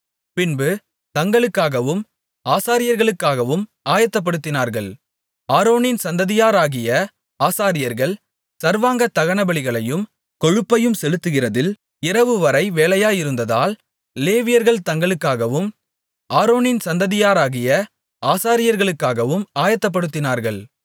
பின்பு தங்களுக்காகவும் ஆசாரியர்களுக்காகவும் ஆயத்தப்படுத்தினார்கள் ஆரோனின் சந்ததியாராகிய ஆசாரியர்கள் சர்வாங்க தகனபலிகளையும் கொழுப்பையும் செலுத்துகிறதில் இரவு வரை வேலையாயிருந்ததால் லேவியர்கள் தங்களுக்காகவும் ஆரோனின் சந்ததியாராகிய ஆசாரியர்களுக்காகவும் ஆயத்தப்படுத்தினார்கள்